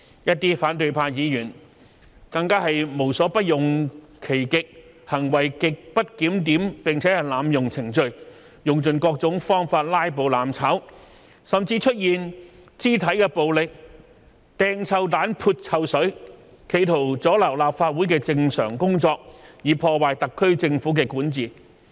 一些反對派議員更是無所不用其極，行為極不檢點並濫用程序，用盡各種方法"拉布""攬炒"，甚至出現肢體暴力、擲臭彈、潑臭水，企圖阻撓立法會的正常工作，以破壞特區政府的管治。